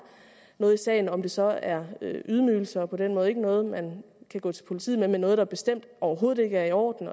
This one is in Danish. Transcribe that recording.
noget i sagen om det så er ydmygelser og på den måde ikke noget man kan gå til politiet med men noget der bestemt overhovedet ikke er i orden